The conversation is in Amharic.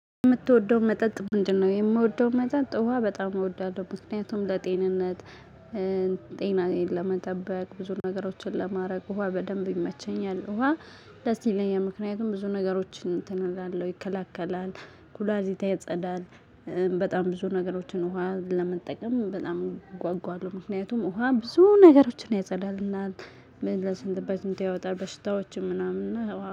የምትወደው መጠጥ ምንድነው? የምወደው መጠጥ ውሃ በጣም እወዳለሁ ምክንያቱም ለጤንነት ጤናዬን ለመጠበቅ ብዙ ነገሮችን ለማድረግ ውሃ በደንብ ይመቸኛል። ውሃ ደስ ይለኛል። ምክንያቱም ብዙ ነገሮችን እንትን እላለሁ ይከላከላል ኩላሊት ያጸዳል። በጣም ብዙ ነገሮችን ውሃ ለመጠቀም በጣም እጓጓለሁ ምክንያቱም ውሃ ብዙ ነገሮችን ያጸዳልናል። በሽንት በሽንት ያወጣል በሽታዎችን ምናምን ያው